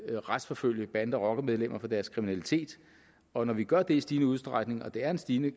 vil retsforfølge bande og rockermedlemmer for deres kriminalitet og når vi gør det i stigende udstrækning og det er en stigende